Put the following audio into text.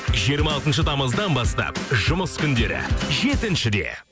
жиырма алтыншы тамыздан бастап жұмыс күндері жетіншіде